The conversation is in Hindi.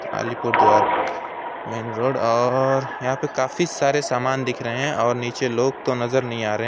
अलीपुर द्वार मेन रोड और यहाँ पे काफी सारे सामान दिख रहे हैं और नीचे लोग तो नजर नहीं आ रहे हैं।